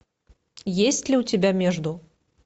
есть ли у тебя между